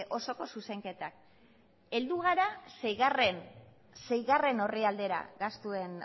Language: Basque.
osoko zuzenketak heldu gara seigarrena orrialdera gastuen